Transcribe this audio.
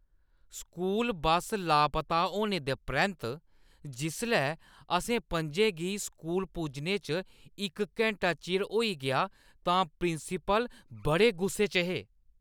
School bus लापता होने दे परैंत्त जिसलै असें पं'जें गी स्कूल पुज्जने च इक घैंटा चिर होई गेआ तां प्रिंसीपल बड़े गुस्से च हे।